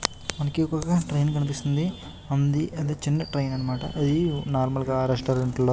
మనకి ఇక్కడ ట్రైన్ కనిపిస్తుంది. అది చిన్న ట్రైన్ అన్నమాట. అది నార్మల్ గ రెస్టారెంట్ లో --